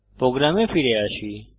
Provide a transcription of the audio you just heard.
প্রোগ্রামে ফিরে আসি